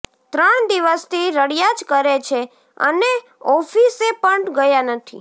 ત્રણ દિવસથી રડ્યા જ કરે છે અને ઓફિસે પણ ગયા નથી